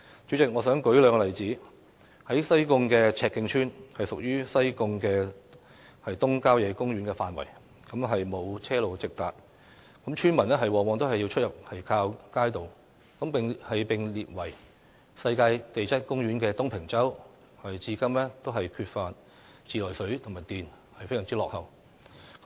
主席，我想舉兩個例子：西貢赤徑村屬於西貢東郊野公園的範圍，沒有車路直達，村民出入往往要靠街渡；而被列為世界地質公園的東平洲，至今仍缺乏自來水和電，非常落後。